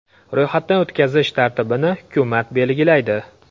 Ro‘yxatdan o‘tkazish tartibini hukumat belgilaydi.